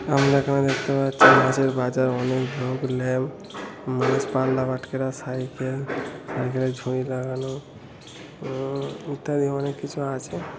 আমরা এখানে দেখতে পাচ্ছি মাছের বাজার অনেক ধুপ লেপ মাছ পাল্লা বাটখারা সাইকেল সাইকেলে ঝুড়ি লাগানো উম ইত্যাদি অনেক কিছু আছে।